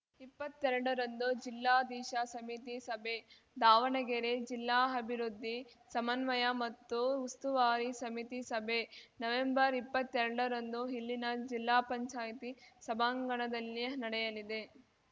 ಇಪ್ಪತ್ತೆರಡ ರಂದು ಜಿಲ್ಲಾ ದಿಶಾ ಸಮಿತಿ ಸಭೆ ದಾವಣಗೆರೆ ಜಿಲ್ಲಾ ಅಭಿವೃದ್ಧಿ ಸಮನ್ವಯ ಮತ್ತು ಉಸ್ತುವಾರಿ ಸಮಿತಿ ಸಭೆ ನವೆಂಬರ್ಇಪ್ಪತ್ತೆಲ್ಡರಂದು ಇಲ್ಲಿನ ಜಿಲ್ಲಾ ಪಂಚಾಯ್ತಿ ಸಭಾಂಗಣದಲ್ಲಿ ನಡೆಯಲಿದೆ